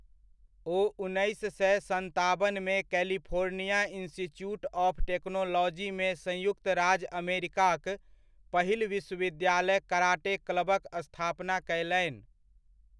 ओ उन्नैस सए सताबनमे कैलिफोर्निया इंस्टीट्यूट ऑफ टेक्नोलॉजीमे संयुक्त राज्य अमेरिकाक पहिल विश्वविद्यालय कराटे क्लबक स्थापना कयलनि।